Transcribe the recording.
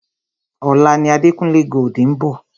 Ọ̀la ni Adekunle Gold ń bọ̀.